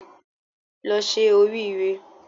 Lọ se orí re